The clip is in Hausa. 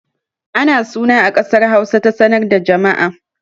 Ana suna a ƙasar Hausa ta sanar da jama'a